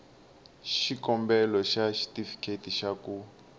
xikombelo xa xitifiketi xa ku